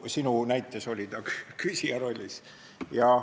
Sinu näites oli ta küsija rollis.